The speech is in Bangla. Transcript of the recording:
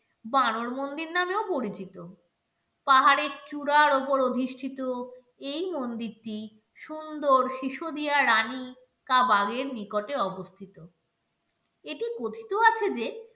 বানর মন্দির নামেও পরিচিত পাহাড়ের চূড়ার ওপর অধিষ্ঠিত এই মন্দিরটি সুন্দর শিশু দিয়া রানী কাবাগের নিকটে অবস্থিত এটি কথিত আছে যে